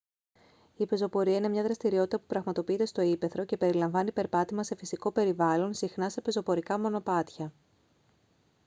η πεζοπορία είναι μια δραστηριότητα που πραγματοποιείται στο ύπαιθρο και περιλαμβάνει περπάτημα σε φυσικό περιβάλλον συχνά σε πεζοπορικά μονοπάτια